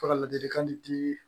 Ka ladilikan di